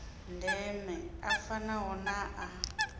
ndeme a fanaho na a